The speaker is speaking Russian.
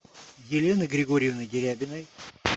елены григорьевны дерябиной